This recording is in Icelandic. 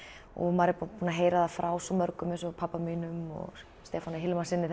og maður er búinn að heyra það frá svo mörgum eins og pabba og Stefáni Hilmarssyni